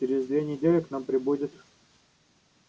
через две недели к нам прибудет